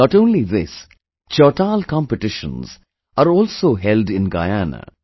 Not only this, Chautal Competitions are also held in Guyana